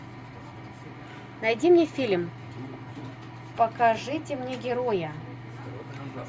найди мне фильм покажите мне героя